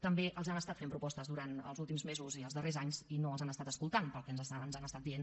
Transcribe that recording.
també els han estat fent propostes durant els últims mesos i els darrers anys i no els han estat escoltant pel que ens han estat dient